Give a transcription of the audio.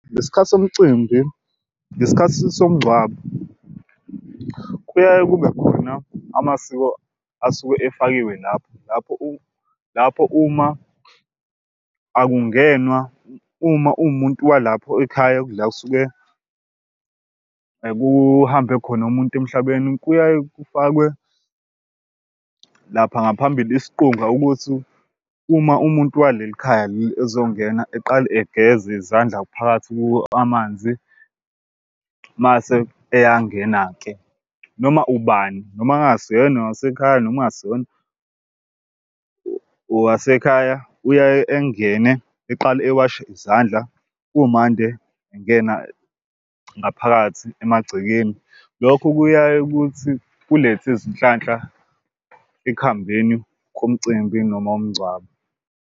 Ngesikhathi somcimbi ngesikhathi somngcwabo kuyaye kube khona amasiko asuke efakiwe lapho lapho lapho uma akungenwa uma uwumuntu walapho ekhaya la kusuke kuhambe khona umuntu emhlabeni. Kuyaye kufakwe lapha ngaphambili isiqunga ukuthi uma umuntu waleli khaya leli ezongena eqale egeza izandla phakathi kuwo amanzi, mase eyangena-ke. Noma ubani noma engasiyena owasekhaya noma engasiyona owasekhaya uyaye engene eqale ewashe izandla kumande engena ngaphakathi emagcekeni. Lokho kuyaye ukuthi kulethe izinhlanhla ekuhambeni komcimbi noma womngcwabo.